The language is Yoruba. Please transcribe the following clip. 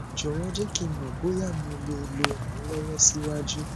jọwọ jẹ ki n mọ boya mo le le ran ọ lọwọ siwaju